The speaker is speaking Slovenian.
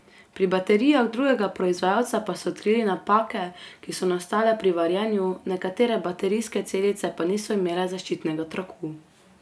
Pri baterijah drugega proizvajalca pa so odkrili napake, ki so nastale pri varjenju, nekatere baterijske celice pa niso imele zaščitnega traku.